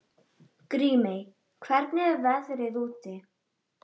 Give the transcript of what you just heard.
Grímey, hvernig er veðrið úti?